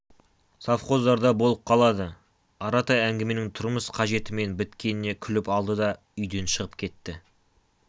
совхоздарда болып қалады аратай әңгіменің тұрмыс қажетімен біткеніне күліп алды да үйден шығып кетті